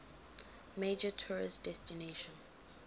major tourist destination